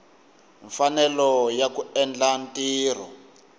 mfanelo ya ku endla ntirho